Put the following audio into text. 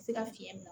Se ka fiɲɛ minɛ